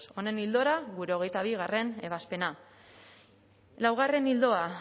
honen ildora gure hogeita bigarrena ebazpena laugarren ildoa